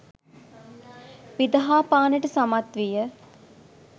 විදහා පාන්නට සමත් විය.